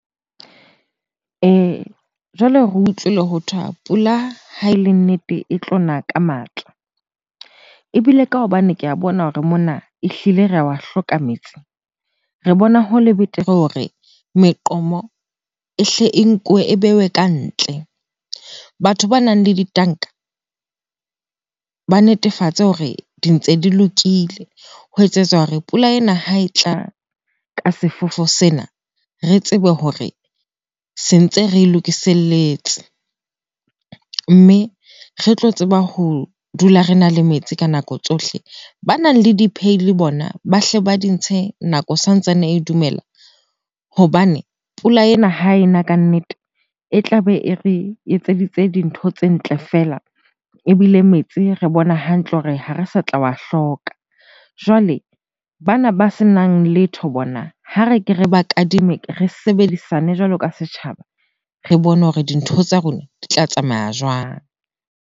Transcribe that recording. Jwale re utlwile hothwa pula ha e le nnete e tlona ka matla. Ebile ka hobane ke a bona hore mona ehlile ra wa hloka metsi, re bona ho le betere hore meqomo ehle e nkuwe e bewe ka ntle. Batho banang le ditanka ba netefatse hore di ntse di lokile ho etsetsa hore pula ena ha e tla ka sefefo sena, re tsebe hore se ntse re lokiselletse, mme re tlo tseba ho dula rena le metsi ka nako tsohle. Banang le bona ba hle ba di ntshe nako santsane e dumela hobane pula ena ha ena kannete, e tlabe e re etseditse dintho tse ntle feela ebile metsi re bona hantle hore ha re sa tla wa hloka. Jwale bana ba senang letho bona, ha re ke re ba kadime, re sebedisane jwalo ka setjhaba. Re bone hore dintho tsa rona di tla tsamaya.